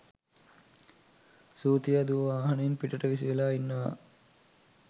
සූතියා දුව වාහනයෙන් පිටට විසි වෙලා ඉන්නවා